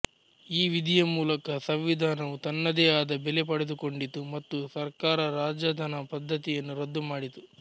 ಈ ವಿಧಿಯ ಮೂಲಕ ಸಂವಿಧಾನವು ತನ್ನದೇ ಆದ ಬೆಲೆ ಪಡೆದುಕೊಂಡಿತು ಮತ್ತು ಸರ್ಕಾರರಾಜ ಧನ ಪದ್ದತಿಯನ್ನು ರದ್ದು ಮಾಡಿತು